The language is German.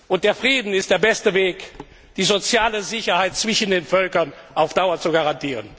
Und der Frieden ist der beste Weg, die soziale Sicherheit zwischen den Völkern auf Dauer zu garantieren.